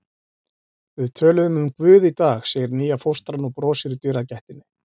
Við töluðum um Guð í dag, segir nýja fóstran og brosir í dyragættinni.